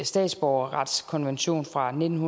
statsborgerretskonvention fra nitten